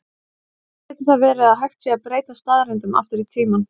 Varla getur það verið að hægt sé að breyta staðreyndum aftur í tímann?